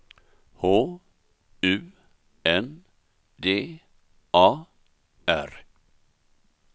H U N D A R